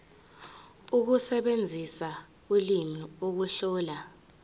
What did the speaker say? ukusebenzisa ulimi ukuhlola